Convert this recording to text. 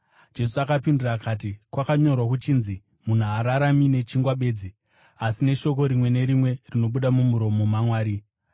Jesu akapindura akati, “Kwakanyorwa kuchinzi, ‘Munhu haararami nechingwa bedzi, asi neshoko rimwe nerimwe rinobuda mumuromo maMwari.’ ”